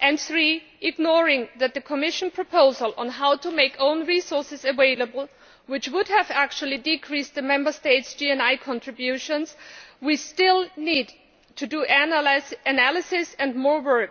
and three, ignoring the fact that the Commission proposal on how to make own resources available which would have actually decreased the Member States' GNI contributions still needs to be analysed and worked on.